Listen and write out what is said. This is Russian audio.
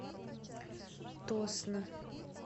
тосно